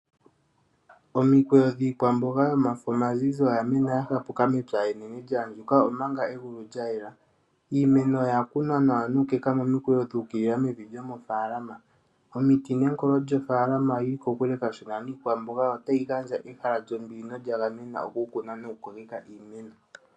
Omikweyo dhiikwamboga yomafo omazizi oya mena ya hapuka mepya enene lya andjuka, omanga egulu lya yela. Iimeno oya kunwa nawa nuukeka moikweyo dhu ukilila mofaalama. Omiti nenkolo lyofaalama oyi li kokule kashona niikwamboga, otayi gandja ehala lyombili nolya gamenwa okukunwa nokukokekwa iimeno.